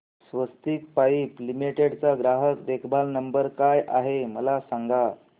स्वस्तिक pipe limited चा ग्राहक देखभाल नंबर काय आहे मला सांगा